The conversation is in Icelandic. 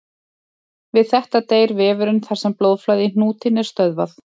Við þetta deyr vefurinn þar sem blóðflæði í hnútinn er stöðvað.